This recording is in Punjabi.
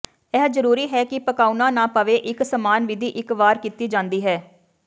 ਇਹ ਜਰੂਰੀ ਹੈ ਕਿ ਪਕਾਉਣਾ ਨਾ ਪਵੇ ਇੱਕ ਸਮਾਨ ਵਿਧੀ ਇੱਕ ਵਾਰ ਕੀਤੀ ਜਾਂਦੀ ਹੈ